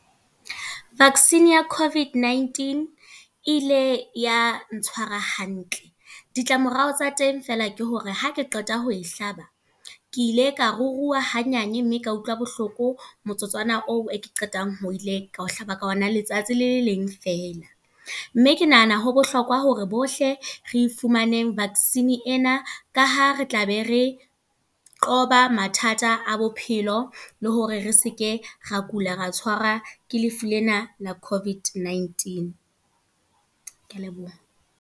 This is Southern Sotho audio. Vaccine ya COVID-19. E ile ya ntshwara hantle. Ditlamorao tsa teng feela ke hore ha ke qeta ho e hlaba, ke ile ka ruruha ha nyane mme ka utlwa bohloko motsotswana oo e ke qetang ho ile ka ho hlaba ka ona letsatsi le leng fela. Mme ke nahana ho bohlokwa hore bohle re fumaneng vaccine ena. Ka ha re tlabe re, qhoba mathata a bophelo. Le hore re seke ra kula ra tshwarwa ke lefu lena la COVID-19. Ke a leboha.